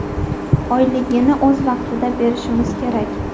Oyligini o‘z vaqtida berishimiz kerak.